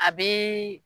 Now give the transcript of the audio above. A bɛ